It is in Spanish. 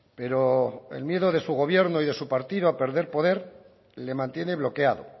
pero el miedo de su gobierno y de su partido a perder poder le mantiene bloqueado